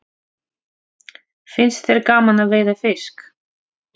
Finnst þér gaman að veiða fisk?